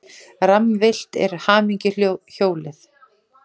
Rammvillt er hamingjuhjólið.